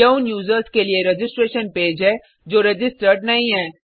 यह उन यूज़र्स के लिए रजिस्ट्रेशन पेज है जो रजिस्टर्ड नहीं हैं